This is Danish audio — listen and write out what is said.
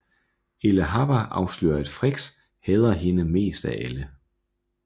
Elphaba afslører at Frex hader hende mest af alle